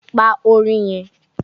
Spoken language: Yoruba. Pa orin yẹn!